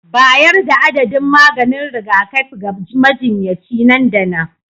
Bayar da adadin maganin rigakafi ga majinyaci nan da nan